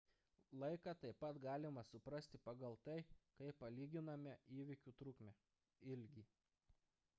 laiką taip pat galima suprasti pagal tai kaip palyginame įvykių trukmę ilgį